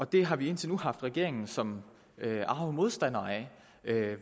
det har vi indtil nu haft regeringen som arge modstandere af